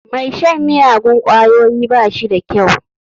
Mai shan miyagun ƙwayoyi ba shi da kyau.